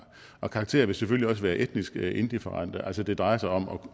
og karakterer vil selvfølgelig også være etnisk indifferente altså det drejer sig om